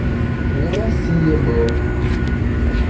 Ng'ura siiye boo.